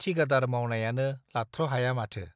ठिकादार मावनायानो लाथ्र' हाया माथो !